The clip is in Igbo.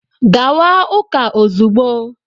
Gawa ụka ozugbo!